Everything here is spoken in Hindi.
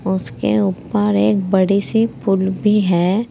उसके ऊपर एक बड़ी सी पुल भी है।